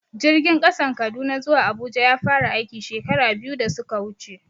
Jirgin ƙasan Kaduna zuwa Abuja ya fara aiki, shekara biyu da suka wuce.